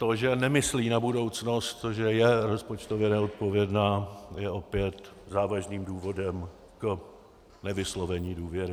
To, že nemyslí na budoucnost, to, že je rozpočtově neodpovědná, je opět závažným důvodem k nevyslovení důvěry.